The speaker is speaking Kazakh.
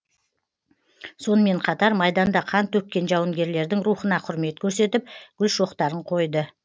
сонымен қатар майданда қан төккен жауынгерлердің рухына құрмет көрсетіп гүл шоқтарын қойды